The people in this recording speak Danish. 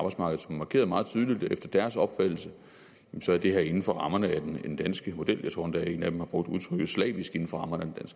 markeret meget tydeligt at efter deres opfattelse er det her inden for rammerne af den danske model jeg tror endda at en af dem har brugt udtrykket slavisk inden for rammerne